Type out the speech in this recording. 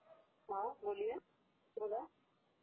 हा बोलिये.....बोला